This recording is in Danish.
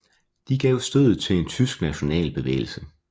De gav stødet til en tysk national bevægelse